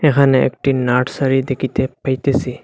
এখানে একটি নার্সারি দেখিতে পাইতেসি।